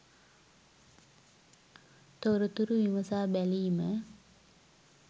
තොරතුරු විමසා බැලීම